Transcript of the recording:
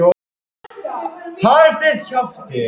Í því tilviki er það sem sagt fæðuframboðið sem ræður.